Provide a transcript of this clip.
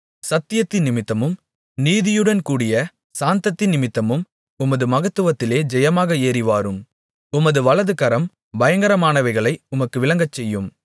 சத்தியத்தினிமித்தமும் நீதியுடன் கூடிய சாந்தத்தினிமித்தமும் உமது மகத்துவத்திலே ஜெயமாக ஏறிவாரும் உமது வலதுகரம் பயங்கரமானவைகளை உமக்கு விளங்கச்செய்யும்